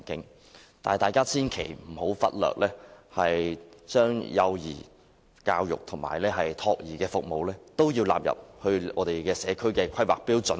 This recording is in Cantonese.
但是，大家千萬不要忽略將幼兒教育及託兒服務納入社區的規劃內。